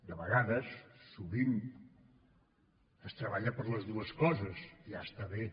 de vegades sovint es treballa per les dues coses ja està bé